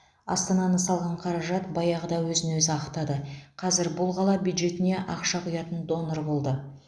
астананы салған қаражат баяғыда өзін өзі ақтады қазір бұл қала бюджетіне ақша құятын донор болды